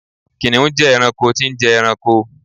kìnìún je ẹranko tí n je ẹranko